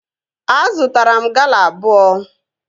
Azụtara m Gala abụọ